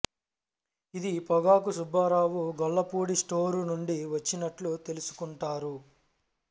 ఇది పొగాకు సుబ్బారావు గొల్లపూడి స్టోరు నుండి వచ్చినట్లు తెలుసుకుంటారు